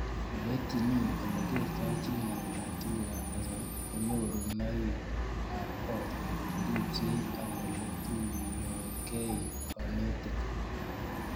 Ole itchini ole kertoi chii , naet ab tuguk ab kasari, kanyorunoik ab kot , cheripsei ak ole tuyokei kanetik